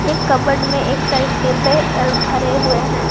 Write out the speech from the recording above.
एक कपबोर्ड में एक साइड डिब्बे और भरे हुए हैं।